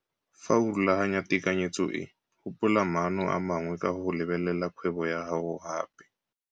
Fa o rulaganya tekanyetso e gopola maano a mangwe ka go lebelela kgwebo ya gago gape.